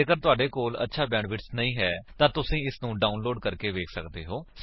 ਜੇਕਰ ਤੁਹਾਡੇ ਕੋਲ ਅੱਛਾ ਬੈਂਡਵਿਡਥ ਨਹੀਂ ਹੈ ਤਾਂ ਤੁਸੀ ਇਸਨੂੰ ਡਾਉਨਲੋਡ ਕਰਕੇ ਵੇਖ ਸੱਕਦੇ ਹੋ